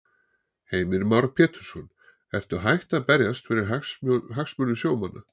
Heimir Már Pétursson: Ertu hætt að berjast fyrir hagsmunum sjómanna?